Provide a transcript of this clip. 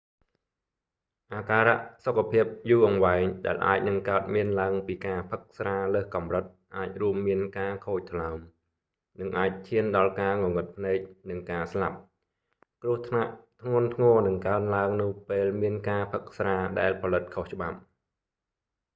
អាការៈសុខភាពយូរអង្វែងដែលអាចនឹងកើតមានឡើងពីការផឹកស្រាលើសកំរិតអាចរួមមានការខូចថ្លើម និងអាចឈានដល់ការងងឹតភ្នែក និងការស្លាប់ គ្រោះថ្នាក់ធ្ងន់ធ្ងរនឹងកើនឡើងនៅពេលមានការផឹកស្រាដែលផលិតខុសច្បាប់